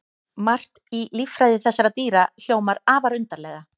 Margt í líffræði þessara dýra hljómar afar undarlega.